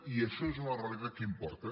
i això és una realitat que importa